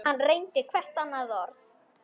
Hann reyndi hvert hennar orð.